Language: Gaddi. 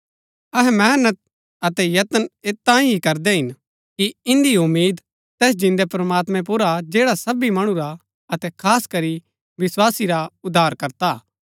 अहै मेहनत अतै यत्न ऐत तांई ही करदै हिन कि इन्दी उम्मीद तैस जिन्दै प्रमात्मैं पुर हा जैडा सबी मणु रा अतै खास करी विस्वासी रा उद्धारकर्ता हा